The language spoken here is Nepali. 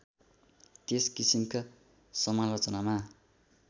त्यस किसिमका समालोचनामा